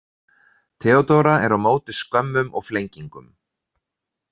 Theodóra er á móti skömmum og flengingum.